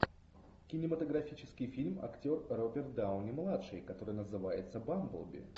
кинематографический фильм актер роберт дауни младший который называется бамблби